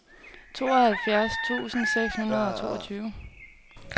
tooghalvfjerds tusind seks hundrede og toogtyve